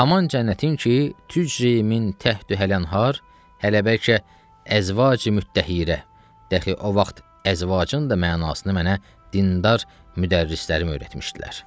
Haman cənnətin ki, tücri min təhtühəl enhər, hələ bəlkə əzvaci mütəhhirə, dəxi o vaxt əzvacin də mənasını mənə dindar müdərrilərim öyrətmişdilər.